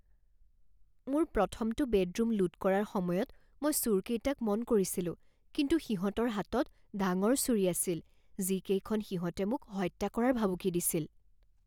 মোৰ প্ৰথমটো বেডৰুম লুট কৰাৰ সময়ত মই চোৰকেইটাক মন কৰিছিলোঁ কিন্তু সিহঁতৰ হাতত ডাঙৰ ছুৰী আছিল যিকেইখনে সিহঁতে মোক হত্যা কৰাৰ ভাবুকি দিছিল।